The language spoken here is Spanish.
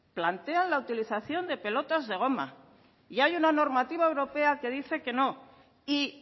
plantean la utilización de pelotas de goma y hay una normativa europea que dice que no y